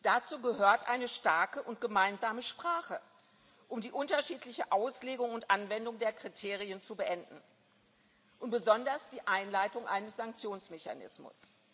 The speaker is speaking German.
wird. Dazu gehört eine starke und gemeinsame Sprache, um die unterschiedliche Auslegung und Anwendung der Kriterien zu beenden, und besonders die Einleitung eines Sanktionsmechanismus.